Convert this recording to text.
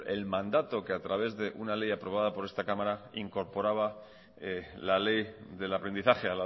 el mandato que a través de una ley aprobada por esta cámara incorporaba la ley del aprendizaje